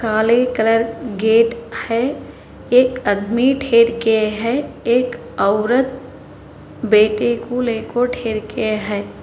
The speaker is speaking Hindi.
काले कलर गेट है एक आदमी है एक औरत बेटे को लेकर के है।